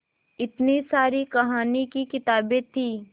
इतनी सारी कहानी की किताबें थीं